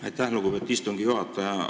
Aitäh, lugupeetud istungi juhataja!